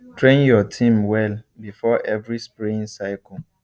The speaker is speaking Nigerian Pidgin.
train your team well before every spraying cycle